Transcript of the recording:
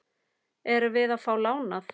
Erum við að fá lánað?